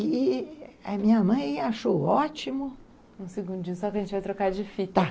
E a minha mãe achou ótimo... Um segundinho, só que a gente vai trocar de fita. Tá.